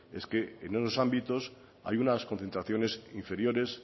es que en esos ámbitos hay unas concentraciones inferiores